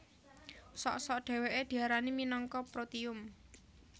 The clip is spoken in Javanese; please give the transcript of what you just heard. Sok sok dhèwèké diarani minangka protium